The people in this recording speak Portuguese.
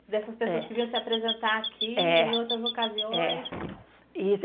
Dessas pessoas que vinham se apresentar aqui em outras ocasiões. E